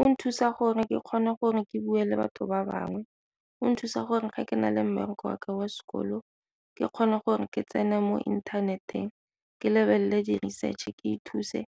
O nthusa gore ke kgone gore ke bue le batho ba bangwe, o nthusa gore ga ke na le mmereko wa ka wa sekolo ke kgone gore ke tsene mo inthaneteng ke lebelele di-research ke ithuse